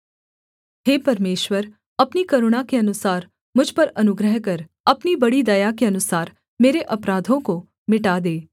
हे परमेश्वर अपनी करुणा के अनुसार मुझ पर अनुग्रह कर अपनी बड़ी दया के अनुसार मेरे अपराधों को मिटा दे